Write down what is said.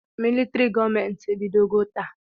Militrị gọọmenti ebidoghị taa.